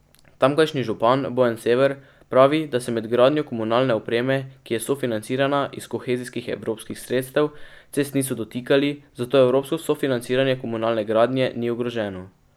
Tamkajšnji župan Bojan Sever pravi, da se med gradnjo komunalne opreme, ki je sofinancirana iz kohezijskih evropskih sredstev, cest niso dotikali, zato evropsko sofinanciranje komunalne gradnje ni ogroženo.